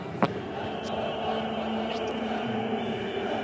Ertu nokkuð löngu kominn?